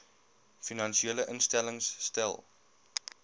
finansiële instellings stel